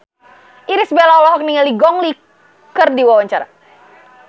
Irish Bella olohok ningali Gong Li keur diwawancara